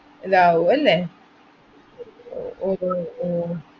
~ലാവും അല്ലേ, ഓ ഓ ഓ